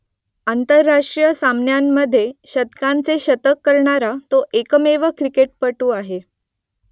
आंतरराष्ट्रीय सामन्यांमधे शतकांचे शतक करणारा तो एकमेव क्रिकेटपटू आहे